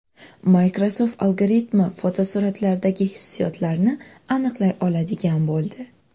Microsoft algoritmi fotosuratlardagi hissiyotlarni aniqlay oladigan bo‘ldi.